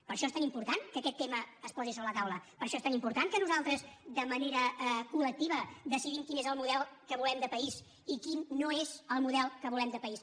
per això és tan important que aquest tema es posi sobre la taula per això és tan important que nosaltres de manera col·lectiva decidim quin és el model que volem de país i quin no és el model que volem de país